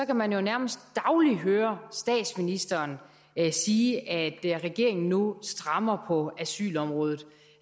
kan man jo nærmest dagligt høre statsministeren sige at regeringen nu strammer på asylområdet